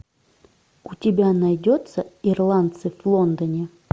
у тебя найдется ирландцы в лондоне